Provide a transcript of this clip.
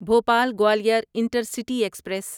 Bhopal Gwalior intercity express